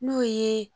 N'o ye